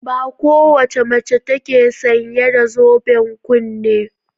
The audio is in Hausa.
Ba kowace mace ce take sanye da zoben kunne.